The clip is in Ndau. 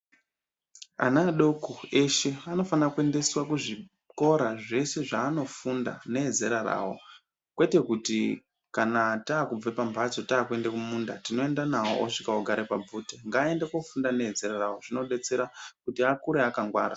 Ana adoko eshe anofane kuendeswe kuzvikora zveshe zvaanofunda neezera rawo kwete kuti kana taakubve pamhatso taakuende kumunda toenda nawo osvika ogare pabvute ngaande koofunda neezera ravo ndiko kuti vakure vakangwara.